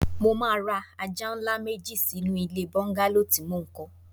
Mo máa ra ajá ńlá méjì sínú ilé bọ́ńgálò tí mo ń kọ́